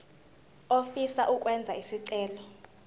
ofisa ukwenza isicelo